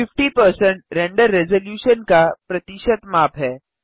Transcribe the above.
50 render resolution का प्रतिशत माप है